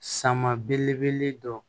Sama belebele dɔ